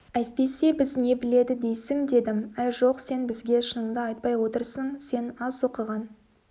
әйтпесе біз не біледі дейсің дедім әй жоқ сен бізге шыныңды айтпай отырсың сен аз оқыған